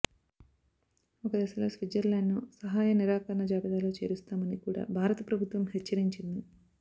ఒకదశలో స్విట్జర్లాండ్ను సహాయనిరాకరణ జాబితాలో చేరుస్తామని కూడా భారత ప్రభుత్వం హెచ్చరించింది